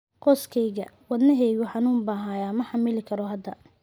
Qoyskayga, wadnaheygu xanuun baa haya, ma xamili karo hadda.